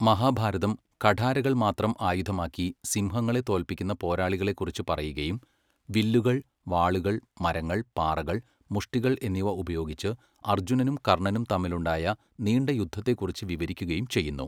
മഹാഭാരതം കഠാരകൾ മാത്രം ആയുധമാക്കി സിംഹങ്ങളെ തോൽപ്പിക്കുന്ന പോരാളികളെക്കുറിച്ച് പറയുകയും വില്ലുകൾ, വാളുകൾ, മരങ്ങൾ, പാറകൾ, മുഷ്ടികൾ എന്നിവ ഉപയോഗിച്ച് അർജുനനും കർണ്ണനും തമ്മിലുണ്ടായ നീണ്ട യുദ്ധത്തെക്കുറിച്ച് വിവരിക്കുകയും ചെയ്യുന്നു.